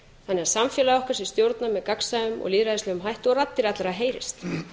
þannig að samfélagi okkar sé stjórnað með gagnsæjum og lýðræðislegum hætti og raddir allra heyrist